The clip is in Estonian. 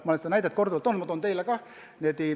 Ma olen seda näidet korduvalt toonud ja toon teile ka.